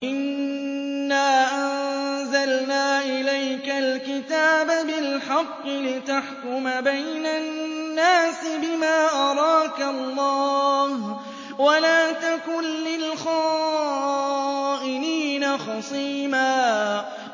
إِنَّا أَنزَلْنَا إِلَيْكَ الْكِتَابَ بِالْحَقِّ لِتَحْكُمَ بَيْنَ النَّاسِ بِمَا أَرَاكَ اللَّهُ ۚ وَلَا تَكُن لِّلْخَائِنِينَ خَصِيمًا